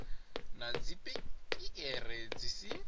na dzi piere dzi si